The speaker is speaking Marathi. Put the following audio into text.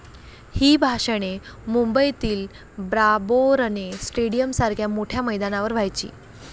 ही भाषणे मुंबईतील ब्राबौरणे स्टेडीयमसारख्या मोठ्या मैदानावर व्हायची.